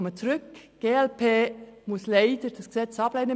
Die glp-Fraktion muss dieses Gesetz leider ablehnen.